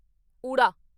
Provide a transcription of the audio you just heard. ਊੜਾ